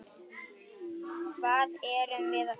Hvað erum við gera?